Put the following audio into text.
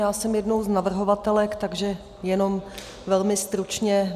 Já jsem jednou z navrhovatelek, takže jenom velmi stručně.